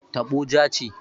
Taɓo ja ce.